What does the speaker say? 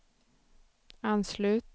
anslut